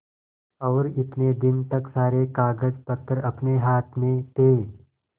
और इतने दिन तक सारे कागजपत्र अपने हाथ में थे